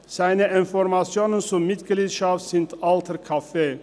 Seine Informationen zur Mitgliedschaft sind alter Kaffee!